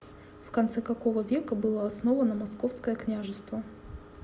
в конце какого века было основано московское княжество